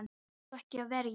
Átt þú ekki að vera í.